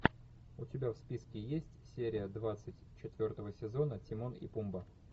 у тебя в списке есть серия двадцать четвертого сезона тимон и пумба